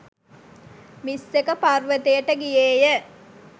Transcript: මිස්සක පර්වතයට ගියේ ය.